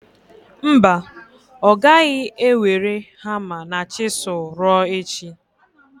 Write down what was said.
Mba, ọ gaghị ewere hama na chizul ruo echi.